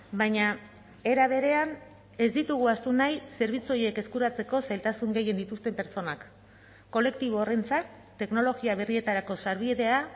baina era berean ez ditugu ahaztu nahi zerbitzu horiek eskuratzeko zailtasun gehien dituzten pertsonak kolektibo horrentzat teknologia berrietarako sarbidea